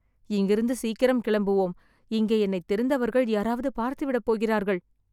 இங்கிருந்து சீக்கிரம் கிளம்புவோம்.. இங்கே என்னைத் தெரிந்தவர்கள் யாராவது பார்த்துவிடப் போகிறார்கள்